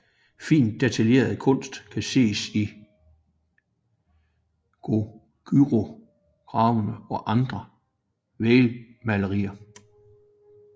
Fint detaljeret kunst kan ses i Goguryeo grave og andre vægmalerier